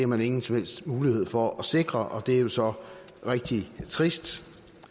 man ingen som helst mulighed for at sikre og det er jo så rigtig trist